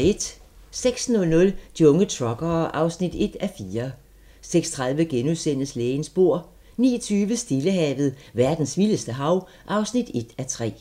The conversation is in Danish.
06:00: De unge truckere (1:4) 06:30: Lægens bord * 09:20: Stillehavet – verdens vildeste hav (1:3)